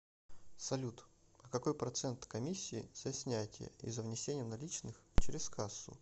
салют а какой процент комиссии за снятие и за внесение наличных через кассу